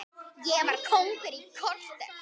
Ég var kóngur í korter.